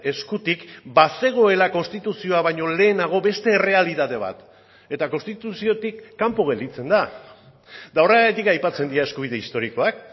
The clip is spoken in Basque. eskutik bazegoela konstituzioa baino lehenago beste errealitate bat eta konstituziotik kanpo gelditzen da eta horregatik aipatzen dira eskubide historikoak